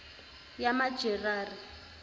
yamajerari